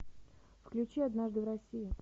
включи однажды в россии